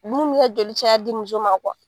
Dumini bi kɛ joli caya di muso ma .